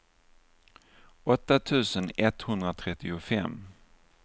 åtta tusen etthundratrettiofem